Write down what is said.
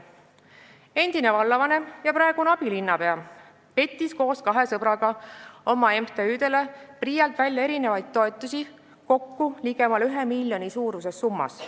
Endine vallavanem ja praegune abilinnapea pettis koos kahe sõbraga PRIA-lt oma MTÜ-dele välja erinevaid toetusi kokku ligemale 1 miljoni suuruses summas.